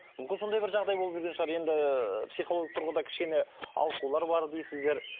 мүмкін сондай бір жағдай болып жүрген шығар енді психологиялық тұрғыда кішкене ауытқулар бар дейсіздер